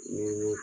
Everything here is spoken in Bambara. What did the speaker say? Ni